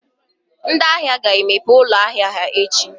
ndị ahịa ga-emepe ụlọ ahịa ha echi?